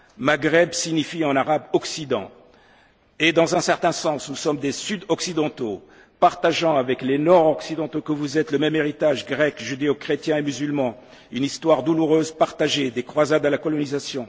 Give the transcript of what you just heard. l'Iran. Maghreb signifie en arabe occident, et dans un certain sens nous sommes des sud occidentaux partageant avec les nord occidentaux que vous êtes le même héritage grec, judéo chrétien et musulman, une histoire douloureuse partagée, des croisades à la colonisation.